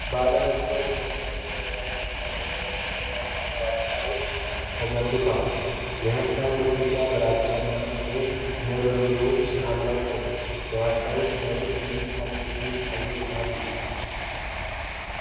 ባለ ብዙ ፎቅ የሚመስል ጥንታዊ ህንፃ በሰፊና ጨለማ ዋሻ ውስጥ ተገንብቷል። የህንፃው ግድግዳዎች ግራጫ እና ጥቁር ንብርብሮች አሏቸው። በዋሻው ውስጥ በግልጽ የማይታዩ ጥቂት ሰዎች አሉ።